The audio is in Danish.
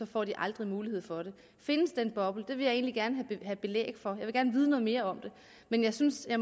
får de aldrig mulighed for det findes den boble det vil jeg egentlig gerne have belæg for jeg vil gerne vide noget mere om det men jeg synes at